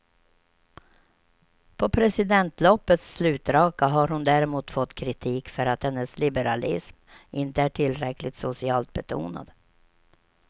På presidentloppets slutraka har hon däremot fått kritik för att hennes liberalism inte är tillräckligt socialt betonad.